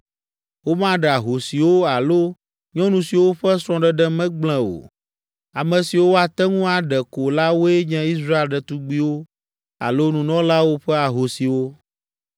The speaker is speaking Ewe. Womaɖe ahosiwo alo nyɔnu siwo ƒe srɔ̃ɖeɖe me gblẽ o. Ame siwo woate ŋu aɖe ko la woe nye Israel ɖetugbiwo alo nunɔlawo ƒe ahosiwo.